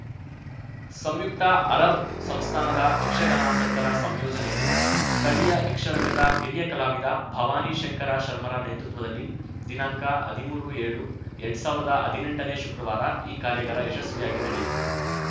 ಸಂಯುಕ್ತ ಅರಬ್ ಸಂಸ್ಥಾನದ ಯಕ್ಷಗಾನಾಸಕ್ತರ ಸಂಯೋಜನೆಯಲ್ಲಿ ಸ್ಥಳೀಯ ಯಕ್ಷರಂಗದ ಹಿರಿಯ ಕಲಾವಿದ ಭವಾನಿಶಂಕರ ಶರ್ಮರ ನೇತೃತ್ವದಲ್ಲಿ ದಿನಾಂಕ ಹದಿಮೂರುಏಳುಎರಡ್ ಸಾವಿರ್ದಾ ಹದಿನೆಂಟನೇ ಶುಕ್ರವಾರ ಈ ಕಾರ್ಯಗಾರ ಯಶಸ್ವಿಯಾಗಿ ನಡೆಯಿತು